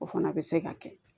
O fana bɛ se ka kɛ